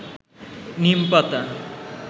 নীম পাতা